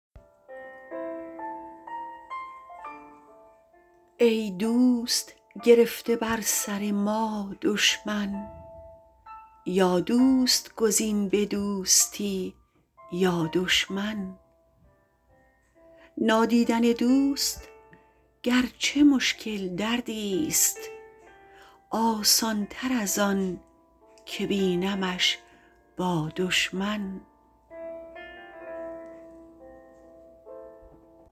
ای دوست گرفته بر سر ما دشمن یا دوست گزین به دوستی یا دشمن نادیدن دوست گرچه مشکل دردیست آسانتر ازان که بینمش با دشمن